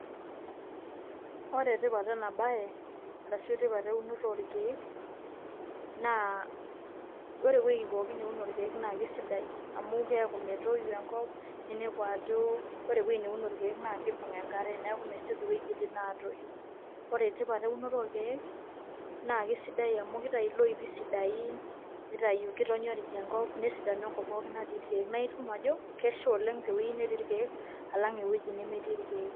ore tipat ena bae arshu tipat eunoto orkeek, ore ewueji pookin neuno irkeek neuno irkek naa eisidai, amu keeku metoi enkop. ninepu ajo ore ewuei neuno irkeek naa kibung' enkare. neeku mesioki iwuejitin aatoi. ore tipat eunore orkeek naa kesidai amu kitayu iloipi sidain kitonyorij enkop, nesidanu enkop pooki natii irkeek, naa inepu ajo kesha oleng te weui netii irkeek alang ewuei nemetii irkeek.